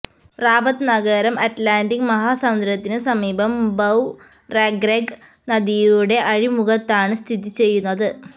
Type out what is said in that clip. Rabat നഗരം Atlantic മഹാസമുദ്രത്തിനു സമീപം ബൌ റെഗ്രെഗ് നദിയുടെ അഴിമുഖത്താണ് സ്ഥിതിചെയ്യുന്നത്